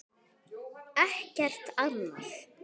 Ekkert annað.